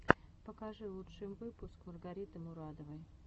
покажи лучший выпуск маргариты мурадовой